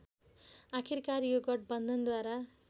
आखिरकार यो गठबन्धनद्वारा